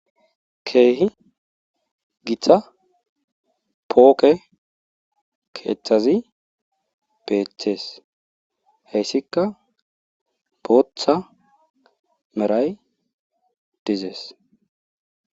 Keehi githa pooqe keethazi beethes heysikka booththa meray dizes.